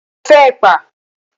Mo fẹ́ ẹ̀pà.